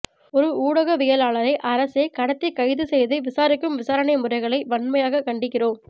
ஒரு ஊடகவியலாளரை அரசே கடத்திக் கைது செய்து விசாரிக்கும் விசாரணை முறைகளை வன்மையாக கண்டிக்கிறோம்